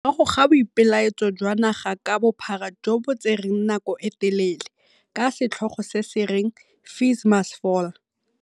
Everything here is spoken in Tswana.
Morago ga boipelaetso jwa naga ka bophara jo bo tsereng nako e telele, ka setlhogo se se reng FeesMustFall.